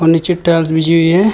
नीचे टाइल्स बिछी हुई है।